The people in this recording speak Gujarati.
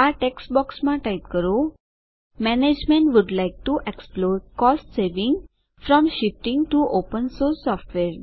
આ ટેક્સ્ટ બોક્સમાં ટાઇપ કરો management would like to explore cost saving from shifting to open source software